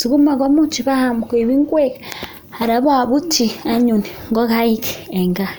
sukuma imuch paam koek ngwek anan paputyi ngokaik eng gaa